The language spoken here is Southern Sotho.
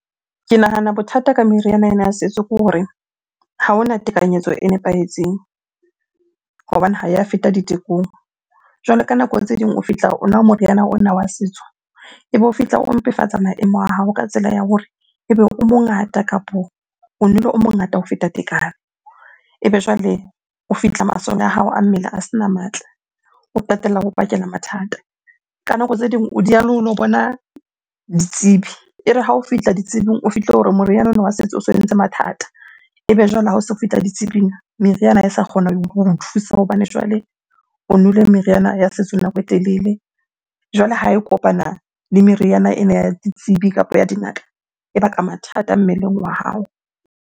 Ke nahana bothata ka meriana ena ya setso ke hore ha hona tekanyetso e nepahetseng hobane ha ya feta ditekong. Jwale ka nako tse ding o fihla o nwa moriana ona wa setso, ebe o fihla o mpefatsa maemo a hao ka tsela ya hore ebe o mongata kapo o nwele o mongata ho feta tekano. Ebe jwale o fihla masole a hao a mmele a sena matla, o qetella o bakela mathata. Ka nako tse ding o dieha le ho lo bona ditsebi, e re ha o fihla ditsebing o fihle o re moriana ona wa setso o so entse mathata. Ebe jwale ha o so fihla ditsebing meriana ha e sa kgona ho thusa hobane jwale o nwele meriana ya setso nako e telele. Jwale ha e kopana le meriana ena ya ditsebi kapo ya dingaka, e baka mathata mmeleng wa hao.